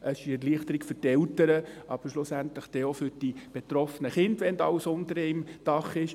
Es ist eine Erleichterung für die Eltern, aber schlussendlich auch für die betroffenen Kinder, wenn alles unter einem Dach ist.